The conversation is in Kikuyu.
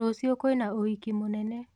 Rũciũ kwĩna ũhiki mũnene.